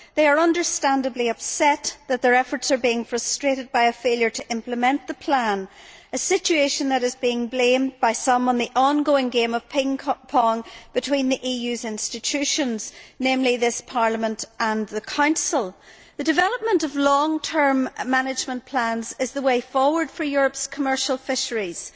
They are understandably upset that their efforts are being frustrated by a failure to implement the plan, a situation which is being blamed by some on the ongoing game of ping pong between the EU's institutions, namely this Parliament and the Council. The development of long term management plans is the way forward for Europe's commercial fisheries.